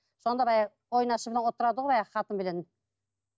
сонда баяғы ойнасымен отырады ғой әлгі қатынменен